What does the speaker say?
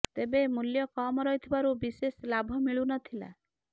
ତେବେ ମୂଲ୍ୟ କମ୍ ରହୁଥିବାରୁ ବିଶେଷ ଲାଭ ମିଳୁ ନ ଥିଲା